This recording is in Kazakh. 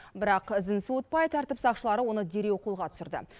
бірақ ізін суытпай тәртіп сақшылары оны дереу қолға түсірді